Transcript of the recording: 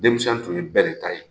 Denmisɛn tun ye bɛɛ de ta ye!